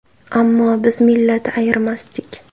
Ammo biz millat ayirmasdik.